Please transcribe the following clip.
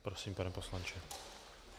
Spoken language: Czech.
Prosím, pane poslanče.